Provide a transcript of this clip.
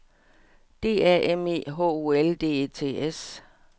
D A M E H O L D E T S